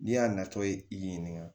N'i y'a natɔ ye i y'i ɲininka